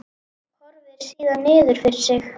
Horfir síðan niður fyrir sig.